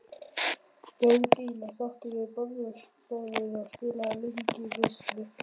Björg og Ína sátu við borðstofuborðið og spiluðu lönguvitleysu.